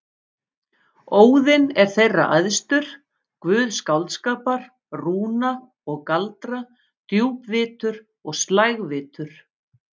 Óðinn er þeirra æðstur, guð skáldskapar, rúna og galdra, djúpvitur og slægvitur.